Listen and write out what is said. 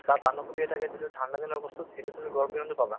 বা বান্ধাকবি এটাকে যিটো ঠাণ্ডা দিনৰ বস্তু সেইটো তুমি গৰম দিনত নোপাবা